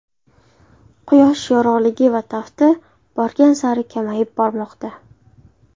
Quyosh yorug‘ligi va tafti borgan sari kamayib bormoqda.